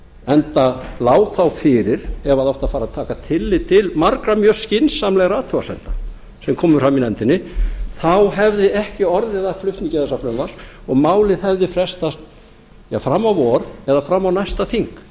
enda lá þá fyrir ef það átti að fara að taka tillit til margra mjög skynsamlegra athugasemda sem komu fram í nefndinni þá hefði ekki orðið af flutningi þessa frumvarps og málið hefði frestast fram á vor eða fram á næsta þing